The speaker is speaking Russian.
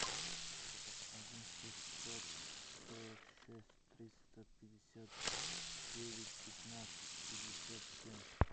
один шестьсот сорок шесть триста пятьдесят девять пятнадцать пятьдесят семь